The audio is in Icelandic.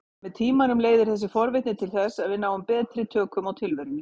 Með tímanum leiðir þessi forvitni til þess að við náum betri tökum á tilverunni.